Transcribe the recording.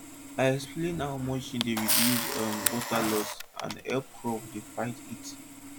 i explain how mulching dey reduce um water loss and hep crops dey fight heat